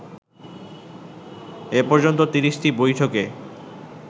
এ পর্যন্ত ৩০টি বৈঠকে